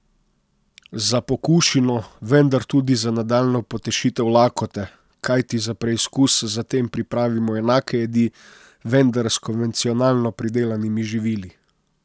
Za pokušino, vendar tudi za nadaljnjo potešitev lakote, kajti za preizkus zatem pripravimo enake jedi, vendar s konvencionalno pridelanimi živili.